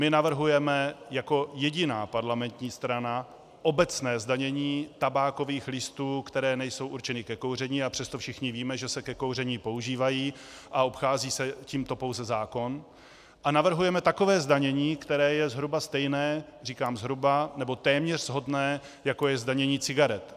My navrhujeme jako jediná parlamentní strana obecné zdanění tabákových listů, které nejsou určené ke kouření, a přesto všichni víme, že se ke kouření používají, a obchází se tímto pouze zákon, a navrhujeme takové zdanění, které je zhruba stejné, říkám zhruba nebo téměř shodné, jako je zdanění cigaret.